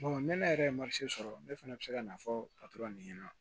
ne yɛrɛ ye sɔrɔ ne fana bɛ se ka na fɔ patɔrɔn de ɲɛna